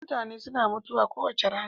mutane suna mutuwa kowace rana